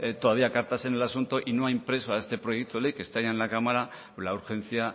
todavía cartas en el asunto y no ha impreso a este proyecto ley que ya está en la cámara la urgencia